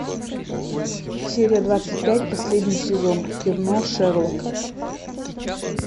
серия двадцать пять последний сезон кино шерлок